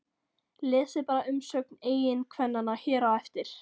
Lesið bara umsögn eiginkvennanna hér á eftir